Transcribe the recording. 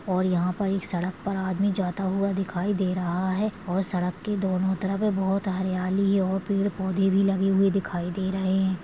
और यहा पर एक सड़क पर आदमी जाता हुआ दिखाई दे रहा है और सड़क के दोन्हों तरफ ये बहुत हरियाली है और पेड़ पौधे भी लगे हुए दिखाई दे रहे है।